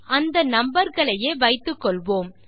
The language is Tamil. அந்த நம்பர் களையே வைத்துக்கொள்வோம்